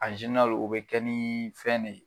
o bɛ kɛ ni fɛn de ye.